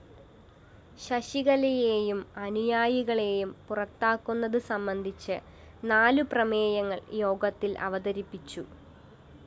ശശികലയേയും അനുയായികളേയും പുറത്താക്കുന്നത് സംബന്ധിച്ചു നാലു പ്രമേയങ്ങള്‍ യോഗത്തില്‍ അവതരിപ്പിച്ചു